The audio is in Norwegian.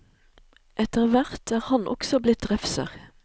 Etter hvert er han også blitt refser.